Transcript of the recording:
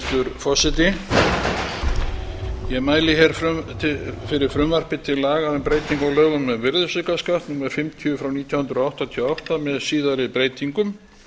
hæstvirtur forseti ég mæli hér fyrir frumvarpi til laga um breytingu á lögum um virðisaukaskatt númer fimmtíu nítján hundruð áttatíu og átta með síðari breytingum frumvarp